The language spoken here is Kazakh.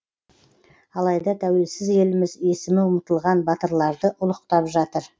алайда тәуелсіз еліміз есімі ұмытылған батырларды ұлықтап жатыр